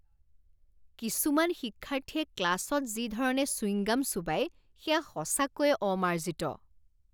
কিছুমান শিক্ষাৰ্থীয়ে ক্লাছত যি ধৰণে চুইংগাম চোবাই সেয়া সঁচাকৈয়ে অমাৰ্জিত।